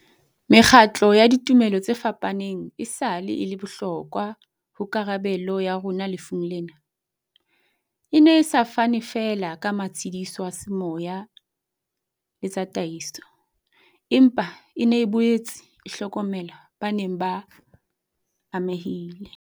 Mekgatlo ya ditumelo tse fapaneng esale e le bohlokwa ho karabelo ya rona lefung lena, e ne e sa fane feela ka matshediso a semoya le ta taiso, empa e ne e boetse e hlokomela ba neng ba amehile.